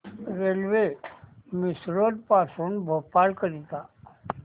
railway Misrod पासून भोपाळ करीता